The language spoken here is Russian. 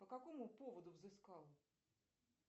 по какому поводу взыскал